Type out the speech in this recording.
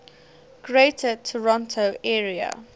greater toronto area